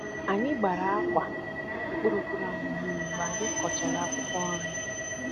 anyị gbàrà ákwà mkpụrụ mkpụrụ ahụ mmiri mgbe anyị kọchara akwụkwọ nri